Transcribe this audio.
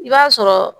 I b'a sɔrɔ